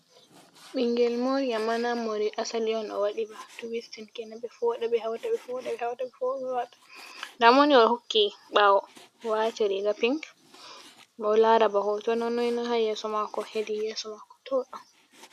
Ɓingel mori amma na morɗi asali on o waɗi ba tuwistin kenan ɓe foɗa ɓe hauta ɓe foɗa ɓe hauta, ɓe foɗa ɓe hauta, nda moni o hokki ɓawo wati riga pink miɗo lara bana hoto na noina ha yeso mako hedi yeso mako to ɗo.